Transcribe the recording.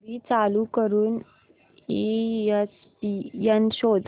TV चालू करून ESPN शोध